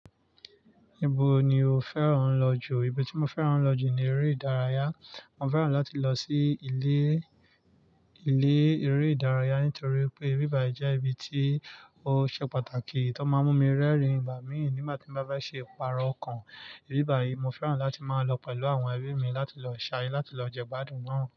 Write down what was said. Ibo ni o fẹ́ràn lọ jù? Ibi tí mo fẹ́ràn lọ jù ni eré ìdárayá. Mo fẹ́ràn láti lọ sí ilé, ilé eré ìdárayá nítorí pé ibí bàyi jẹ́ ibi tí ó ṣe pàtàkì, tó máa ń mú mi rẹ́rìn-ín ìgbà míì nígbà tí mo bá bá ṣe ìpara ọkàn. Ibíbà yìí mo fẹ́ràn láti máa ń lọ pẹ̀lú àwọn ẹbí mi láti lọ ṣayé, láti lọ jẹ gbádùn náà.